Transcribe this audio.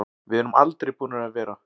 Við erum aldrei búnir að vera.